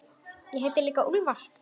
Ég heiti líka Úlfar.